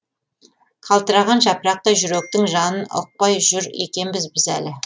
қалтыраған жапырақтай жүректің жанын ұқпай жүр екенбіз біз әлі